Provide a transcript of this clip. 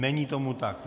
Není tomu tak.